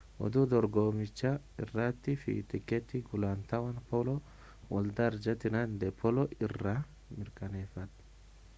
oduu dorgommicha irratii fi tikeeti gulantaawwan polo waldaa arjantiinaa de pooloo irraa mirkaneeffadhaa